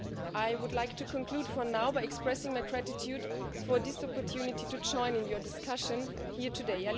I would like to conclude for now by expressing my gratitude for this opportunity to join in your discussion here today.